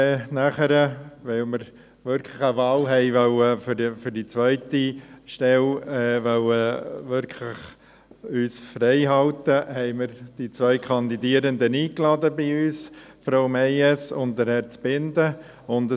Weil wir uns für die zweite Stelle wirklich eine Wahl freihalten wollten, haben wir die zwei Kandidierenden, Frau Meyes und Herrn Zbinden, zu uns eingeladen.